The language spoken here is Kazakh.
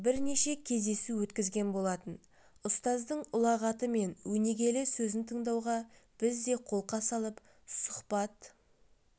бірнеше кездесу өткізген болатын ұстаздың ұлағаты мен өнегелі сөзін тыңдауға біз де қолқа салып сұхбат